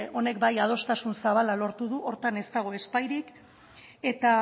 honek bai adostasun zabala lortu du horretan ez dago ezbairik eta